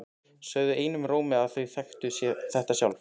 Sögðu einum rómi að þau þekktu þetta sjálf.